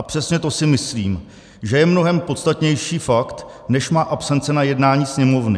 A přesně to si myslím, že je mnohem podstatnější fakt než má absence na jednání Sněmovny.